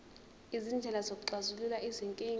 izindlela zokuxazulula izinkinga